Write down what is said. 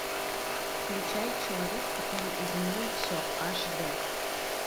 включай человек который изменил все аш д